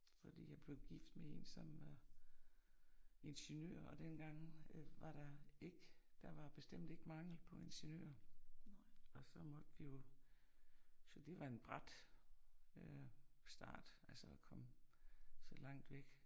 Fordi jeg blev gift med en som øh ingeniører dengang var der ikke der var bestemt ikke mangel på ingeniører og så måtte vi jo så det var en brat øh start, altså at komme så langt væk